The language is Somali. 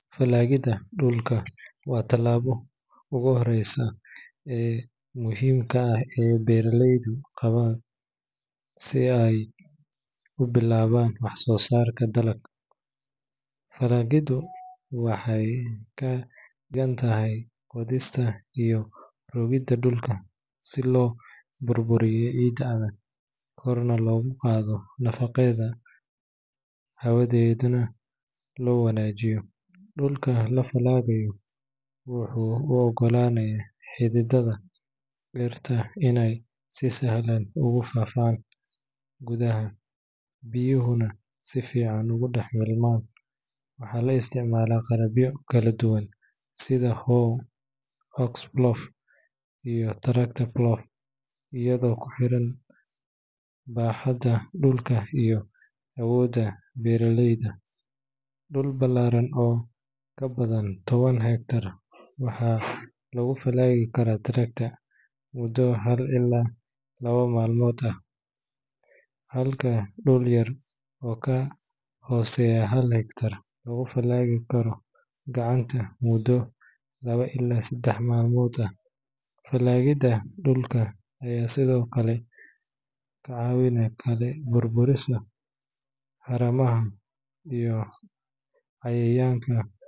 Falaagidda dhulka waa tallaabada ugu horreysa ee muhiimka ah ee beeraleydu qaadaan si ay u bilaabaan wax-soo saar dalag. Falaagiddu waxay ka dhigan tahay qodista iyo rogidda dhulka si loo burburiyo ciidda adag, korna loogu qaado nafaqadeeda, hawadeedana loo wanaajiyo. Dhulka la falaagayo wuxuu u oggolaanayaa xididdada dhirta inay si sahlan ugu faaftaan gudaha, biyuhuna si fiican ugu dhex milmaan. Waxaa la isticmaalaa qalabyo kala duwan sida hoe, ox plough, iyo tractor plough, iyadoo ku xiran baaxadda dhulka iyo awoodda beeraleyda. Dhul ballaaran oo ka badan toban hektar waxaa lagu falaagi karaa tractor muddo hal ilaa laba maalmood ah, halka dhul yar oo ka hooseeya hal hektar lagu falaagi karo gacanta muddo labo ilaa saddex maalmood ah. Falaagidda dhulka ayaa sidoo kale burburisa haramaha iyo cayayaanka.